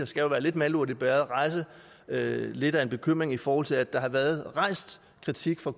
skal jo være lidt malurt i bægeret lidt af en bekymring i forhold til at der har været rejst kritik fra